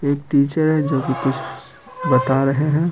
एक टीचर है जो कि कुछ बता रहे है।